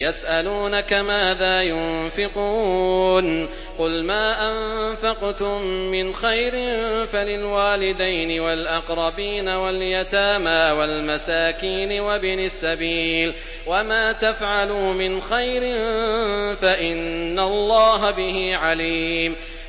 يَسْأَلُونَكَ مَاذَا يُنفِقُونَ ۖ قُلْ مَا أَنفَقْتُم مِّنْ خَيْرٍ فَلِلْوَالِدَيْنِ وَالْأَقْرَبِينَ وَالْيَتَامَىٰ وَالْمَسَاكِينِ وَابْنِ السَّبِيلِ ۗ وَمَا تَفْعَلُوا مِنْ خَيْرٍ فَإِنَّ اللَّهَ بِهِ عَلِيمٌ